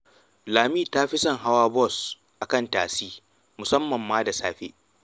Lami ta fi son hawa bos a kan tasi, musamman ma da safe